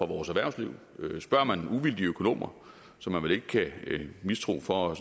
vores erhvervsliv spørger man uvildige økonomer som man vel ikke kan mistænke for